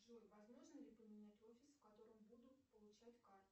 джой возможно ли поменять офис в котором будут получать карту